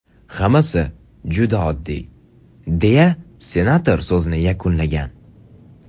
Hammasi juda oddiy”, deya senator so‘zini yakunlagan.